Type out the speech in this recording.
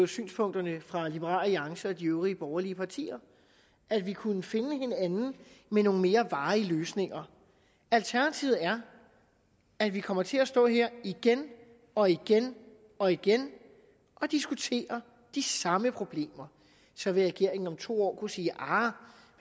synspunkterne fra liberal alliance og de øvrige borgerlige partier at vi kunne finde hinanden med nogle mere varige løsninger alternativet er at vi kommer til at stå her igen og igen og igen og diskutere de samme problemer så vil regeringen om to år kunne sige aha